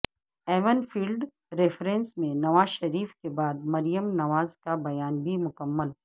even field reference میں نواز شریف کے بعد مریم نواز کا بیان بھی مکمل